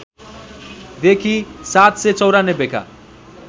देखि ७९४ का